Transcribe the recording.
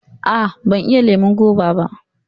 Aa, ban iya lemon goba ba